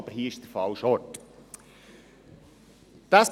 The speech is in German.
Aber hier ist es der falsche Ort dafür.